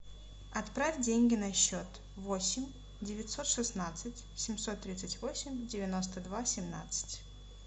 отправь деньги на счет восемь девятьсот шестнадцать семьсот тридцать восемь девяносто два семнадцать